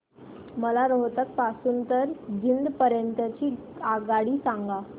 मला रोहतक पासून तर जिंद पर्यंत ची आगगाडी सांगा